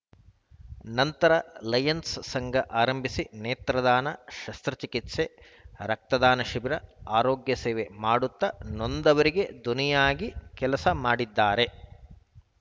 ನಂತರ ಲಯನ್ಸ‌ ಸಂಘ ಆರಂಭಿಸಿ ನೇತ್ರದಾನ ಶಸ್ತ್ರ ಚಿಕಿತ್ಸೆ ರಕ್ತದಾನ ಶಿಬಿರ ಆರೋಗ್ಯ ಸೇವೆ ಮಾಡುತ್ತಾ ನೊಂದವರಿಗೆ ದೊನಿಯಾಗಿ ಕೆಲಸ ಮಾಡಿದ್ದಾರೆ